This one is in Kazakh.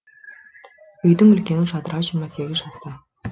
үйдің үлкені жадыра жиырма сегіз жаста